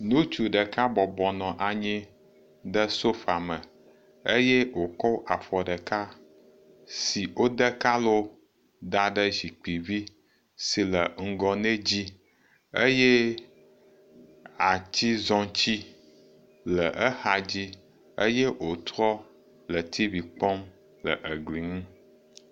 Ŋutsu ɖeka bɔbɔnɔ anyi ɖe sofa me eye wòkɔ afɔ ɖeka si wode kalo da ɖe zikpuivi sile ŋgɔ nɛ dzi eye atizɔti le exadzi eye wotsrɔ le tv kpɔm le egli ŋu